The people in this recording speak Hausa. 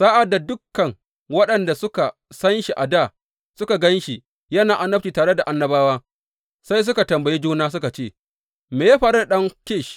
Sa’ad da dukan waɗanda suka san shi a dā suka gan shi yana annabci tare da annabawa, sai suka tambayi juna, suka ce, Me ya faru da ɗan Kish?